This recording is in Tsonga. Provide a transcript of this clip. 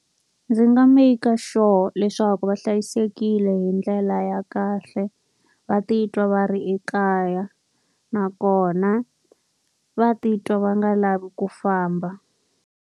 Ndzi nga make-a sure leswaku va hlayisekile hi ndlela ya kahle, va titwa va ri ekaya. Nakona va titwa va nga lavi ku famba.